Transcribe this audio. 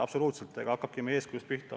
Absoluutselt õige, hakkamegi eeskujust pihta.